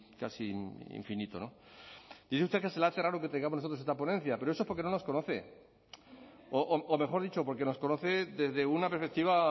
casi infinito no dice usted que se le hace raro que traigamos nosotros esta ponencia pero eso porque no nos conoce o mejor dicho porque nos conoce desde una perspectiva